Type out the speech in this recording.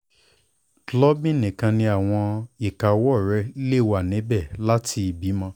klubing nikan ni awọn ika ọwọ le wa nibẹ lati ibimọ